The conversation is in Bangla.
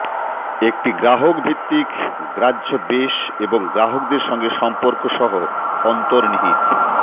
একটি গ্রাহক ভিত্তিক গ্রাহ্য বেস এবং গ্রাহকদের সঙ্গে সম্পর্ক সহ অন্তর্নিহিত